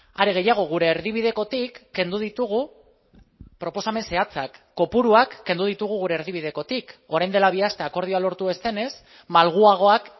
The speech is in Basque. are gehiago gure erdibidekotik kendu ditugu proposamen zehatzak kopuruak kendu ditugu gure erdibidekotik orain dela bi aste akordioa lortu ez denez malguagoak